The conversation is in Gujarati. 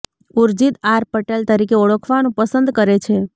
ઊર્જિત આર પટેલ તરીકે ઓળખાવાનું પસંદ કરે છે